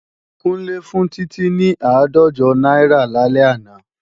Kúnlé fún Títí ní àádọ́jọ náírà lálẹ́ àná